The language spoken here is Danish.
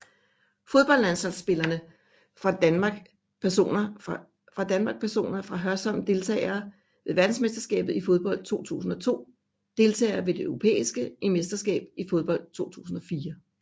Fodboldlandsholdsspillere fra Danmark Personer fra Hørsholm Deltagere ved verdensmesterskabet i fodbold 2002 Deltagere ved det europæiske mesterskab i fodbold 2004